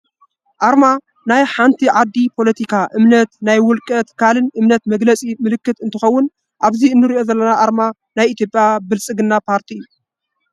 ኣርማ ናይ ዓንቲ ዓዲ ፖሎቲካ፣ እምነት ናይ ውልቀ ትካልን እምነት መግለፂ ምልክት እንትከው አብዚ እንሪኦ ዘለና ኣርማ ናይ ኢትዮጰያ ብልፅግና ፓርቲ እዩ።